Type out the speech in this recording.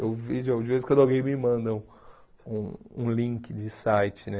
Eu vejo de de vez em quando alguém me manda um um link de site, né?